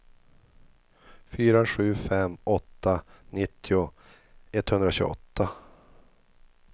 fyra sju fem åtta nittio etthundratjugoåtta